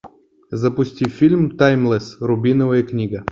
запусти фильм таймлесс рубиновая книга